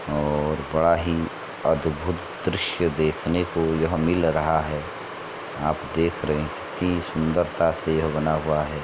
और बड़ा ही अद्भुत दृश्य देखने को यह मिल रहा है आप देख रहे ती सुंदरता से ये बना हुआ है।